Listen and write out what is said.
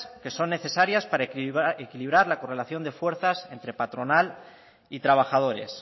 que son necesarias para equilibrar la correlación de fuerzas entre patronal y trabajadores